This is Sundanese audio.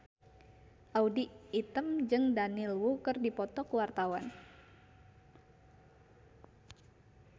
Audy Item jeung Daniel Wu keur dipoto ku wartawan